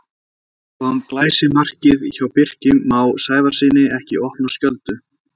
Kom glæsimarkið hjá Birki Má Sævarssyni ekki í opna skjöldu?